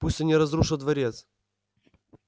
пусть они разрушат дворец